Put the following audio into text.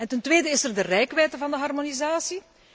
Ten tweede is er de reikwijdte van de harmonisatie.